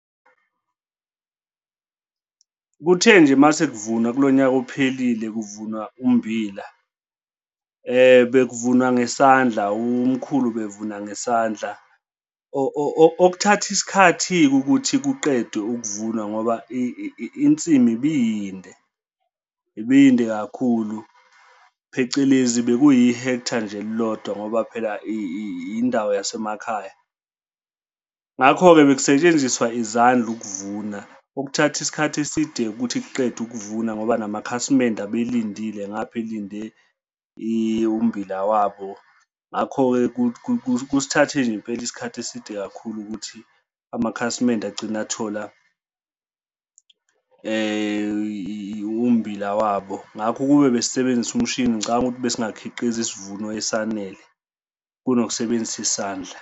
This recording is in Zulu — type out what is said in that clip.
Kuthe nje uma sekuvunwa kulo nyaka ophelile, kuvunwa umbila, bekuvunwa ngesandla umkhulu ubevuna ngesandla okuthatha isikhathi-ke ukuthi kuqedwe ukuvunwa ngoba insimi ibiyinde, ibiyinde kakhulu, phecelezi bekuyi-hectare nje elilodwa ngoba phela indawo yasemakhaya. Ngakho-ke bekusetshenziswa izandla ukuvuna okuthatha isikhathi eside-ke ukuthi kuqedwe ukuvuna ngoba namakhasimende abelindile ngapha elinde umbila wabo. Ngakho-ke kusithathe nje impela isikhathi eside kakhulu ukuthi amakhasimende agcine athola umbila wabo, ngakho ukube besibenzise umshini ngicabanga ukuthi besingakhiqiza isivuno esanele kunokusebenzisa isandla.